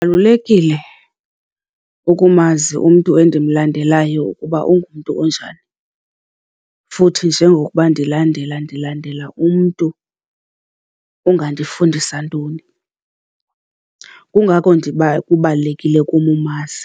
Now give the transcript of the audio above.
Kubalulekile ukumazi umntu endimlandelayo ukuba ungumntu onjani futhi njengokuba ndilandela ndilandela umntu ongandifundisa ntoni. Kungako kubalulekile kum umazi